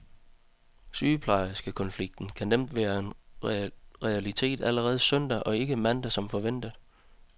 Sygeplejerskekonflikten kan nemt være en realitet allerede søndag og ikke mandag som forventet.